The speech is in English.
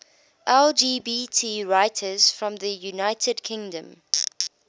lgbt writers from the united kingdom